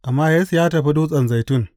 Amma Yesu ya tafi Dutsen Zaitun.